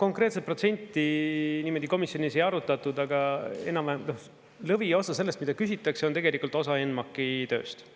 Konkreetset protsenti niimoodi komisjonis ei arutatud, aga enam-vähem, noh, lõviosa sellest, mida küsitakse, on tegelikult osa NMAK-i tööst.